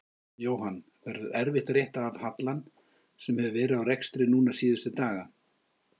Jóhann: Verður erfitt að rétta af hallann sem hefur verið á rekstri núna síðustu daga?